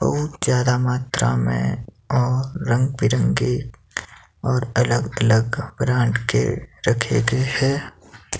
बहुत ज्यादा मात्रा में और रंग बिरंगे और अलग अलग ब्रांड के रखे गए हैं।